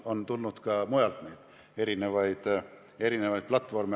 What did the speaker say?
On tulnud ka mujalt erinevaid platvorme.